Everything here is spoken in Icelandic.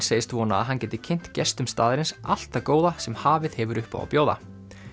segist vona að hann geti kynnt gestum staðarins allt það góða sem hafið hefur upp á að bjóða